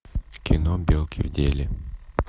кино белки в деле